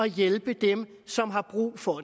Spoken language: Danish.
hjælpe dem som har brug for